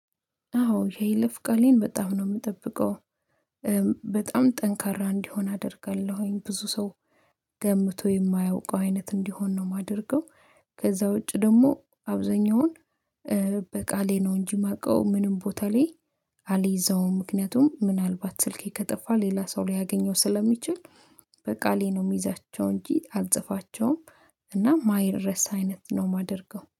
አዎ የይለፍ ቃሌን በጣም ነው የምጠብቀው። በጣም ጠንካራ እንዲሆን አደርጋለሁኝ ብዙ ሰው ገምቶ የማያውቀው አይነት እንዲሆን ነው የማደርገው። ከዛ ውጪ ደግሞ አብዛኛውን በቃሌ ነው እንጂ ማቀው ምንም ቦታ ላይ አልዘውም። ምክንያቱም ምናልባት ስልኬ ከጠፋ ሌላ ሰው ሊያገኘው ስለሚችል በቃሌ ነው የሚይዛቸው እንጂ አልጽፋቸውም። እና ማይረሳ አይነት ነው የማደርገው